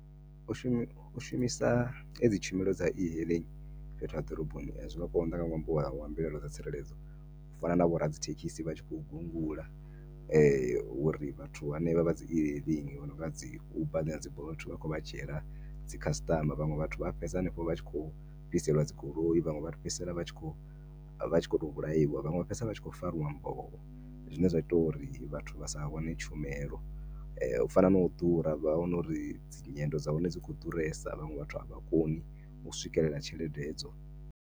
U shumi u shumisa hedzi tshumelo dza e-hailing fhethu ha ḓoroboni zwinga nga konḓa nga ṅwambo wa wa mbilahelo dza tsireledzo u fana na vho ra dzi thekhisi vhatshi kho gungula uri vhathu henevha vha dzi e-hailing vhononga dzi uber na dzi bolt vhakho vha dzhiela dzi customer. Vhanwe vhathu vha fhedza hanefho vha tshi kho fhiselwa dzi goloi, vhaṅwe vha fhedzisela vha tshi kho, vha tshi khoto vhulaiwa vhaṅwe vha fhedzisela vha tshi kho fariwa mboho zwine zwa ita uri vhathu vhasa wane tshumelo u fana na u ḓura vha wana uri dzi nyendo dza hone dzi kho ḓuresa vhaṅwe vhathu avha koni u swikelela tshelede edzo.